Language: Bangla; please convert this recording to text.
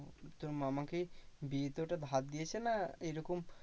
তোর মামা কি বিয়েতে ওটা ধার দিয়েছে না এইরকম